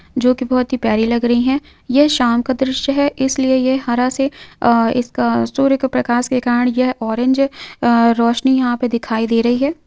जो कि बहुत ही प्यारी लग रही हैं यह शाम का दृश्य है इसलिए यह हरा से अह एक सूर्य के प्रकाश के कारण यह ऑरेंज रोशनी यहां पर दिखाई दे रही है।